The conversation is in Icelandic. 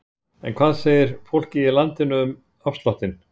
En hvað segir fólkið í landinu um afsláttinn?